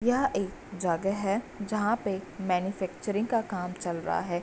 यह एक जगह है जहाँ पे मैन्युफैक्चरिंग का काम चल रहा है।